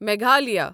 Meghalaya